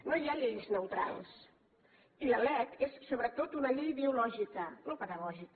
no hi ha lleis neutrals i la lec és sobretot una llei ideològica no pedagògica